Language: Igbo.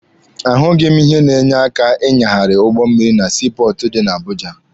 A hụghị m ihe na-enye aka ịnyagharị ụgbọ mmịrị na sii pọọtụ dị na Abuja.